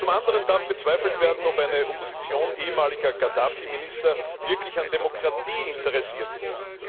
Zum anderen darf bezweifelt werden, ob eine Opposition ehemaliger Gaddafi Minister wirklich an Demokratie interessiert ist.